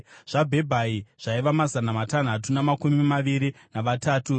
zvaBhebhai zvaiva mazana matanhatu namakumi maviri navatatu;